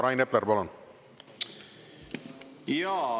Rain Epler, palun!